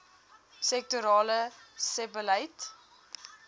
sektorale sebbeleid